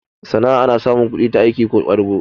Sanna ana samun kudi ta aiki ko ƙwadago